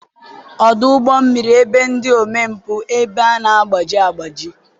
ọdụ ụgbọ mmiri ebe ndị omempụ ebe a na-agbaji agbaji